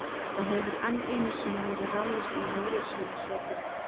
Það hefur enn einu sinni verið ráðist á Jólasveinasetrið.